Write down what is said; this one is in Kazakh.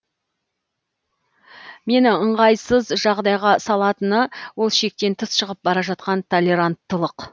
мені ыңғайсыз жағдайға салатыны ол шектен тыс шығып бара жатқан толеранттылық